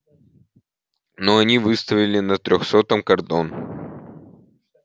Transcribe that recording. ну они выставили на трёхсотом кордон